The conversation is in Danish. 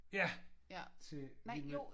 Ja til en øh